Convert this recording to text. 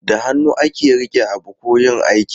Da hannu ake rike abu ko yin aiki.